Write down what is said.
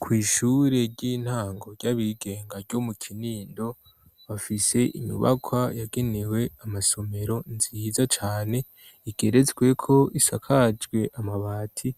Kw'ishure ry'intango ry'abigenga ryo mu kinindo bafise imyubakwa yagenewe amasomero nziza cane igerezweko isakajwe amabati